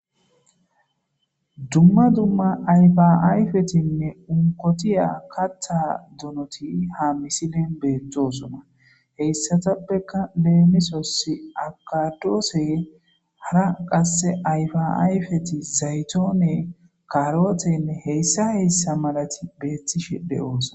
dumma dumma ayfaayfetinne unkotiya kattha donoti ha misilen beettosona heyssatappeka leemisos akadoose hara qasse ayfaayfeti zaytoone karootenne heyssa heyssa malati beettishe de7oosa